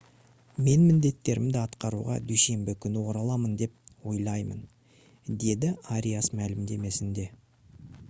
«мен міндеттерімді атқаруға дүйсенбі күні ораламын деп ойлаймын» - деді ариас мәлімдемесінде